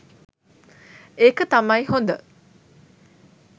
එක තමයි හොඳ.